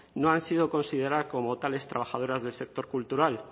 no han sido consideradas como tales trabajadoras del sector cultural